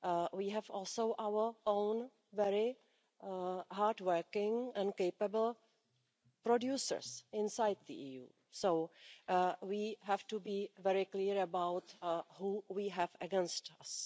We have also our own very hard working and capable producers inside the EU, so we have to be very clear about who we have against us.